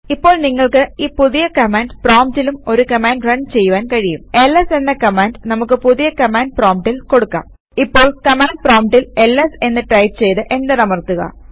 ഇപ്പോൾ നിങ്ങൾക്ക് ഈ പുതിയ കമാൻഡ് പ്രോംപ്റ്റിലും ഒരു കമാൻഡ് റൺ ചെയ്യുവാൻ കഴിയുംls എന്ന കമാൻഡ് നമുക്ക് പുതിയ കമാൻഡ് പ്രോംപ്റ്റിൽ കൊടുക്കാം ഇപ്പോൾ കമാൻഡ് പ്രോംപ്റ്റിൽ എൽഎസ് എന്ന് ടൈപ് ചെയ്ത് എന്റർ അമർത്തുക